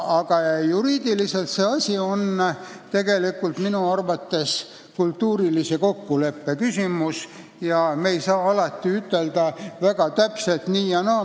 Aga juriidiliselt on see minu arvates kultuurilise kokkuleppe küsimus, me ei saa alati väga täpselt nii või naa ütelda.